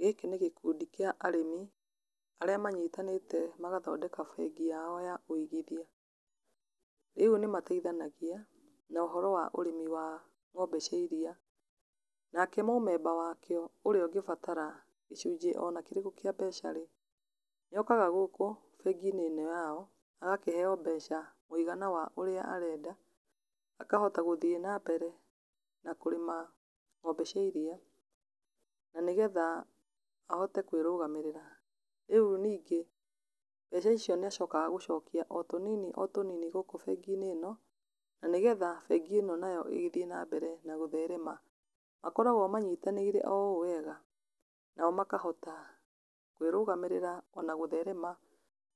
Gĩkĩ nĩ gĩkundi kĩa arĩmi, arĩa manyitanĩte magathondeka bengi yao ya ũigithia. Rĩu nĩ mateithanagia na ũhoro wa ũrĩmi wa ng'ombe cia iria, nake mũmemba wakĩo ũrĩa ũngĩbatara gĩcunji ona kĩrĩkũ kĩa mbeca rĩ, nĩ okaga gũkũ bengi-inĩ ino yao, agakĩheyo mbeca mũigana wa ũrĩa arenda, akahota gũthiĩ na mbere na kũrĩma ng'ombe cia iria, na nĩ getha ahote kwĩrũgamĩrĩra. Rĩu ningĩ, mbeca icio nĩ acokaga gũcokia o tũnini, o tũnini, gũkũ bengi-inĩ ĩno, na nĩgetha bengĩ ĩno nayo ĩgĩthiĩ na mbere na gũtherema, makoragwo manyitanĩire o ũũ wega, nao makahota kwĩrũgamĩrĩra ona gũtherema,